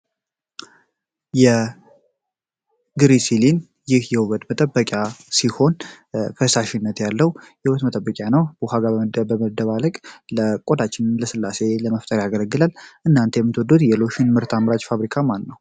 የግሪሲን ይህ የውበት ጠበቂያ ሲሆን ፈሳሽነት ያለው ህይወት መጠበቂያ ነው። ከ ውሃ ጋር በመደባለቅ ለቆዳችን ለስላሴ ለመፍጠር ያገለግላል። እናንተ የምትወዱት የሎሽን ምርት አምራች ፋብሪካ ማነው?